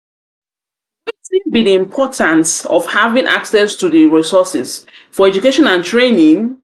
be di importance of having access to di resources for education and training?